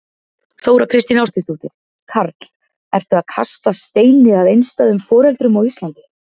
Þóra Kristín Ásgeirsdóttir: Karl, ertu að kasta steini að einstæðum foreldrum á Íslandi?